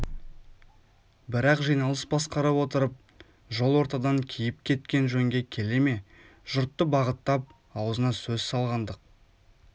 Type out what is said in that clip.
бірақ жиналыс басқарып отырып жол ортадан киіп кеткен жөнге келе ме жұртты бағыттап аузына сөз салғандық